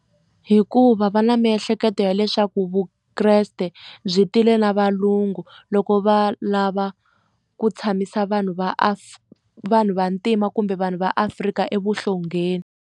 Hikuva va na miehleketo ya leswaku vukreste byi tile na valungu loko va lava ku tshamisa vanhu vanhu vantima kumbe vanhu va Afrika evuhlongeni.